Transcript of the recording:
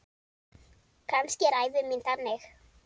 Kannski er ævi mín þannig.